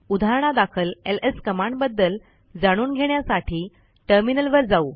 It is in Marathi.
उदाहरणादाखल एलएस कमांडबद्दल जाणून घेण्यासाठी टर्मिनल वर जाऊ